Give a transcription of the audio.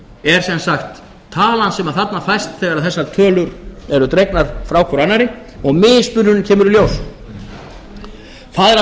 er sem sagt talan sem þarna fæst þegar þessar tölur eru dregnar frá hvor annarri og mismunurinn kemur í ljós það er að